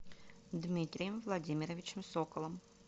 дмитрием владимировичем соколом